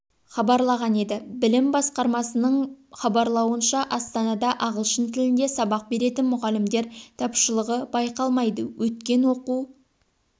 хабарлаған еді білім басқармасының хабарлауынша астанада ағылшын тілінде сабақ беретін мұғалімдер тапшылығы байқалмайды өткен оқу